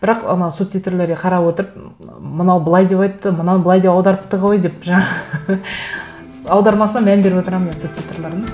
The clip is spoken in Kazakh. бірақ анау субтитрлерге қарап отырып мынау былай деп айтты мынау былай деп аударыпты ғой деп жаңағы аудармасына мән беріп отырамын мен субтитрлардың